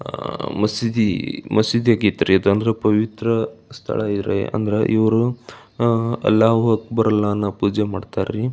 ಆಹ್ಹ್ ಮಸೀದಿ ಮಸೀದಿ ಆಗೈತ್ರಿ ಇದಂದ್ರ ಪವಿತ್ರ ಸ್ಥಳ ಇರ ಅಂದ್ರ ಇವ್ರು ಅಲ್ಲಾಹೋ ಅಕ್ಬರ್ ಅಲ್ಲಾನ ಪೂಜೆ ಮಾಡ್ತರ್ರಿ.